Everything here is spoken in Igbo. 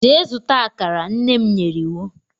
Jee zuta akara, nnem nyere iwu.